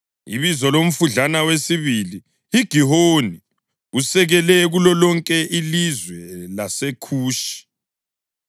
Ibizo lomfudlana wesibili yiGihoni; usekele kulolonke ilizwe laseKhushi.